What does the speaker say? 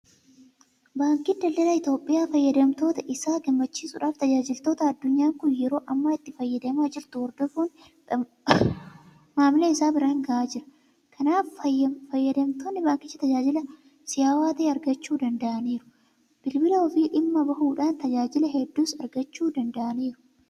Baankiin daldala Itoophiyaa fayyadamtoota isaa gammachiisuudhaaf tajaajiloota addunyaan kun yeroo ammaa itti fayyadamaa jirtu hordofuudhaan maamila isaa biraan gahaa jira. Kanaaf fayyafamtoonni baankichaa tajaajila si'aawaa ta'e argachuu danda'aniiru. Bilbila ofiitti dhimma bahuudhaan tajaajila hedduus argachuu danda'aniiru.